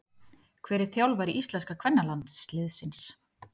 Hver er þjálfari íslenska kvennalandsliðsins?